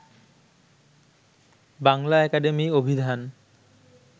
Bangla academy অভিধান